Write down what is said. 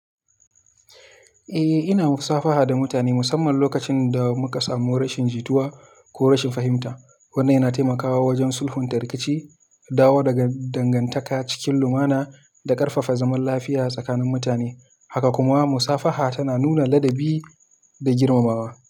Eh, ina musafaha da mutane musamman lokacin da muka samu rashin jituwa ko rashin fahimta. Wannan yana taimakawa wajen sulhunta rikici, dawo da dangantaka cikin lumana da ƙarfafa zaman lafiya tsakanin mutane. Haka kuma musafaha tana nuna ladabi da girmamawa.